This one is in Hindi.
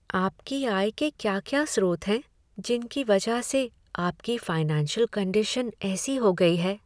आपकी आय के क्या क्या स्रोत हैं जिनकी वजह से आपकी फाइनेंशियल कंडीशन ऐसी हो गई है।